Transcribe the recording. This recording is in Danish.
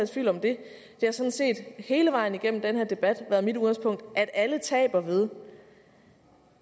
tvivl om det det har sådan set hele vejen igennem den her debat været mit udgangspunkt at alle taber ved